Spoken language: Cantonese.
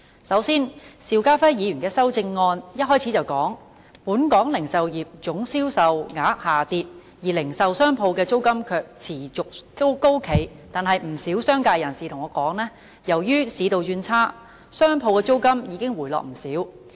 首先，邵家輝議員的修正案開首就指出本港零售業總銷售額下跌，而零售商鋪的租金卻持續高企，但不少商界人士對我說，由於市道轉差，商鋪租金已經回落不少。